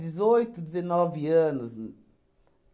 Dezoito, dezenove anos.